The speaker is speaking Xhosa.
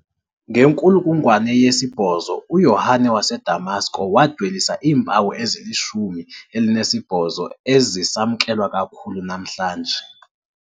Ngenkulungwane yesi-8, uYohane waseDamasko wadwelisa iimpawu ezilishumi elinesibhozo ezisamkelwa kakhulu namhlanje.